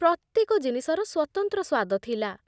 ପ୍ରତ୍ୟେକ ଜିନିଷର ସ୍ୱତନ୍ତ୍ର ସ୍ୱାଦ ଥିଲା।